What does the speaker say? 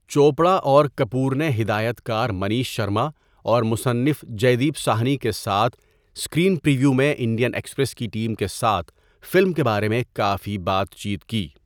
چوپڑا اور کپور نے ہدایت کار منیش شرما اور مصنف جیدیپ ساہنی کے ساتھ اسکرین پر یویو میں انڈین ایکسپریس کی ٹیم کے ساتھ فلم کے بارے میں کافی بات چیت کی۔